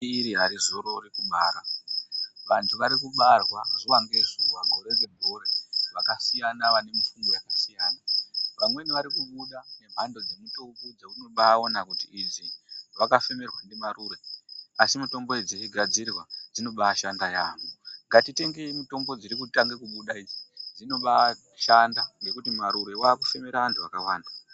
Iri arizorori kubara, vanthu vari kubarwa, zuwa ngezuwa, gore ngegore, vakasiyana vane mifungo yakasiyana, vamweni vari kubuda nemhando dzemutombo dzeunobaaona kuti idzi, vakafemerwa ndimarure, asi mitombo idzi dzichigadzirwa, dzinobaashanda yaampho. Ngatitengeyi mitombo dziri kutanga kubuda idzi, dzinobaashanda, ngekuti marure waakufemera anthu akawanda.